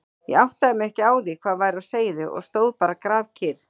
Ég áttaði mig ekki á því hvað væri á seyði og stóð bara grafkyrr.